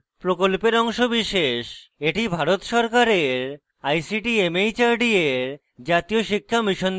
এটি ভারত সরকারের ict mhrd এর জাতীয় শিক্ষা mission দ্বারা সমর্থিত